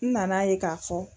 N nana ye k'a fɔ